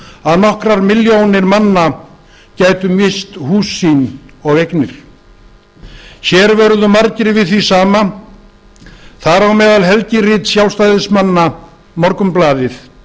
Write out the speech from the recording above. að nokkrar milljónir manna gætu misst hús sín og eignir hér vöruðu margir við því sama þar á meðal helgirit sjálfstæðismanna morgunblaðið